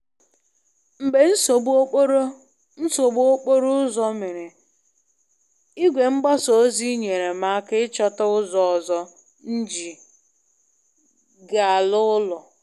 Mgbe nsogbu okporo nsogbu okporo ụzọ mere, igwe mgbasa ozi nyere m aka ịchọta ụzọ ọzọ nji ga-ala ụlọ.